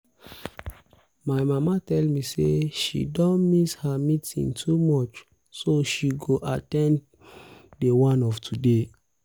my mama tell me say she don um miss her meeting too much so she go um at ten d the one of today